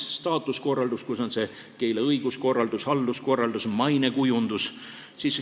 Staatuskorraldus on keele õiguskorraldus, halduskorraldus, mainekujundus.